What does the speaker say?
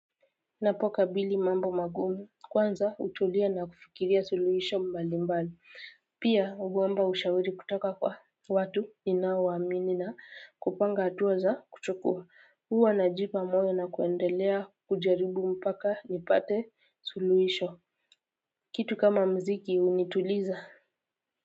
Napokabili mambo magumu kwanza hutulia na kufikiria suluhisho mbalimbali pia huomba ushauri kutoka kwa watu ninaowaamini na kupanga hatua za kuchukua huwa najipa moyo na kuendelea kujaribu mpaka nipate suluhisho kitu kama mziki unituliza.